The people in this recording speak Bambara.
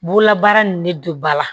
Bugulabaara nin ne don ba la